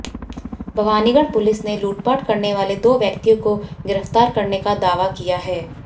Bhawanigarh police ने लूटपाट करने वाले दो व्यक्तियों को गिरफ्तार करने का दावा किया है